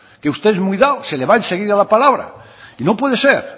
que usted es muy dado se le va enseguida la palabra y no puede ser